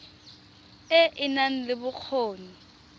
e e nang le bokgoni